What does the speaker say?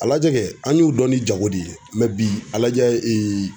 A lajɛ kɛ an y'u dɔn ni jago de ye bi a lajɛ